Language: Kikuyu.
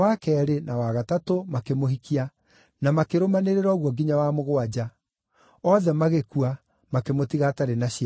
na wa gatatũ makĩmũhikia, na makĩrũmanĩrĩra ũguo nginya wa mũgwanja; othe magĩkua, makĩmũtiga atarĩ na ciana.